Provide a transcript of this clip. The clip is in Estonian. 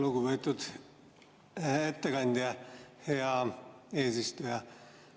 Lugupeetud ettekandja!